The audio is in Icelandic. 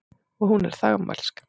Og hún er þagmælsk.